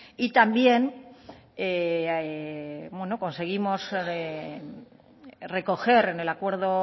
y también conseguimos recoger en el acuerdo